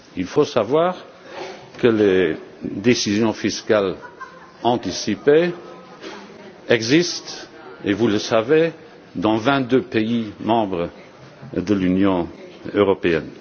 Il faut savoir que les décisions fiscales anticipées existent, et vous le savez, dans vingt deux pays membres de l'Union européenne.